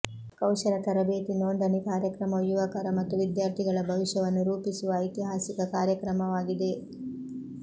ಕೌಶಲ ತರಬೇತಿ ನೋಂದಣಿ ಕಾರ್ಯಕ್ರಮವು ಯುವಕರ ಮತ್ತು ವಿದ್ಯಾರ್ಥಿಗಳ ಭವಿಷ್ಯವನ್ನು ರೂಪಿಸುವ ಐತಿಹಾಸಿಕ ಕಾರ್ಯಕ್ರಮವಾಗಿದೆ